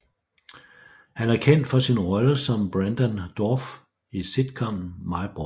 Han er kendt for sin rolle som Brendan Dorff i sitcomen My Boys